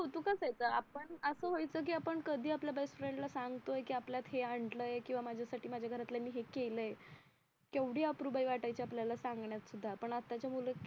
असायचं आपण असं व्हायचं की कधी आपल्या बेस्टफ्रेंड ला सांगतोय की आपल्यात हे आणलंय किंवा माझ्यासाठी माझ्या घरातल्यांनी हे केलंय केवढी आप्रूबाई वाट्टयची आपल्याला सांगण्यात सुद्धा पण आत्ताचे मुलं